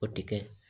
O tɛ kɛ